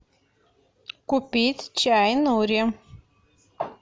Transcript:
купить чай нури